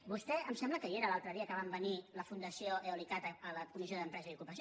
vostè em sembla que hi era l’altre dia que van venir la fundació eoliccat a la comissió d’empresa i ocupació